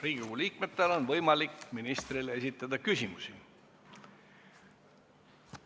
Riigikogu liikmetel on võimalik ministrile esitada küsimusi.